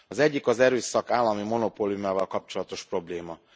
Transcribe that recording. Az egyik az erőszak állami monopóliumával kapcsolatos probléma.